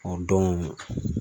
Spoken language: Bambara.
O don